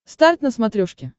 старт на смотрешке